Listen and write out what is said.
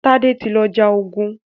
Tade tí lọ já ògún.